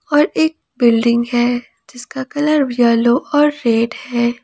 और एक बिल्डिंग है जिसका कलर येलो और रेड है।